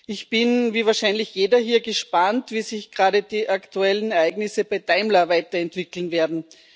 Ich bin, wie wahrscheinlich jeder hier, gespannt, wie sich gerade die aktuellen Ereignisse bei Daimler weiterentwickeln werden.